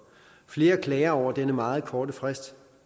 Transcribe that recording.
flere klager over denne meget korte frist